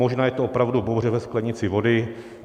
Možná je to opravdu bouře ve sklenici vody.